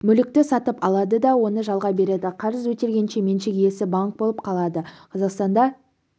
мүлікті сатып алады да оны жалға береді қарыз өтелгенше меншік иесі банк болып қалады қазақстанда